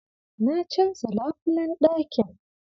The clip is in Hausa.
Na canza labulayen ɗakin.